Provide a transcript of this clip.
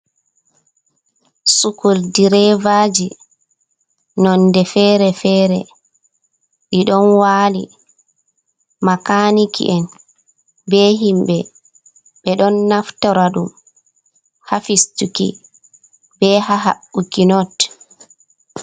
Sukul direvaji nonde fere-fere ɗi ɗon wali. Makaniki'en be himɓe ɓe ɗon naftora ɗum ha fistuki be ha haɓɓuki not.